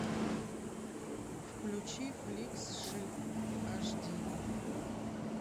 включи фликс шип аш ди